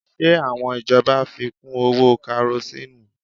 Ṣe àwọn ìjọba fi kú owó Karosíìnù?